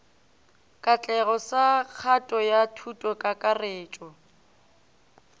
katlego sa kgato ya thutokakarretšo